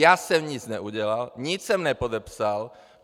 Já jsem nic neudělal, nic jsem nepodepsal.